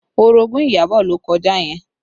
Orogun Iyabọ̀ ló kọjá yẹn